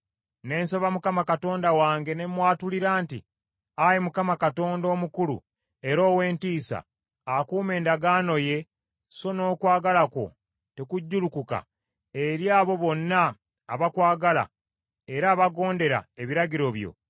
Ne nsaba Mukama Katonda wange ne mwatulira nti, “Ayi Mukama omukulu era ow’entiisa, akuuma endagaano ye so n’okwagala kwo tekujjulukuka eri abo bonna abakwagala era abagondera ebiragiro byo,